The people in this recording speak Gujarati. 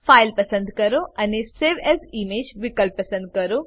ફાઇલ પસંદ કરો અને સવે એએસ ઇમેજ વિકલ્પ પર ક્લિક કરો